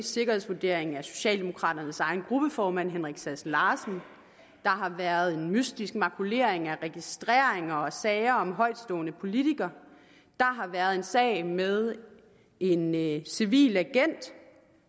sikkerhedsvurdering af socialdemokraternes egen gruppeformand herre sass larsen der har været en mystisk makulering af registreringer og sager om højtstående politikere der har været en sag med en en civil agent